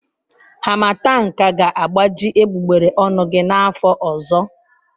Harmattan ka ga-agbaji egbugbere ọnụ gị n'afọ ọzọ.